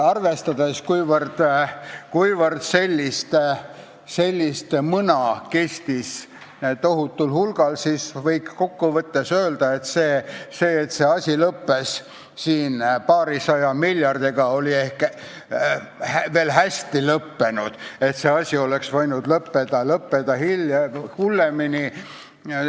Arvestades, kui tohutul hulgal sellist mõna on olnud, võib kokkuvõttes öelda, et kui see asi lõppes paarisaja miljardiga, oli ehk veel hästi, sest see oleks võinud lõppeda hullemini.